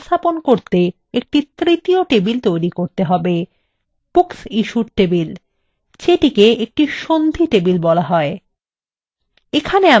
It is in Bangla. একটি তৃতীয় table তৈরি করতে হবে booksissued table যেটিকে একটি সন্ধি table বলা হয়